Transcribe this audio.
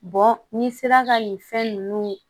n'i sera ka nin fɛn nunnu